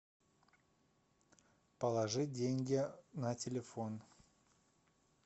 положить деньги на телефон